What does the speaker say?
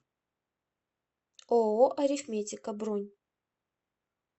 ооо арифметика бронь